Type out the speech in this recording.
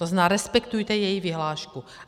To znamená, respektujte její vyhlášku.